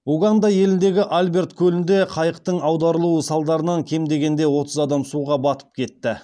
уганда еліндегі альберт көлінде қайықтың аударылуы салдарынан кем дегенде отыз адам суға батып кетті